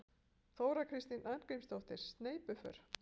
Þóra Kristín Arngrímsdóttir: Sneypuför?